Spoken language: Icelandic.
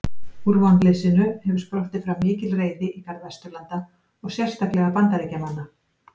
Úr vonleysinu hefur sprottið fram mikil reiði í garð Vesturlanda og sérstaklega Bandaríkjamanna.